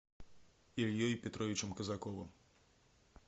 ильей петровичем казаковым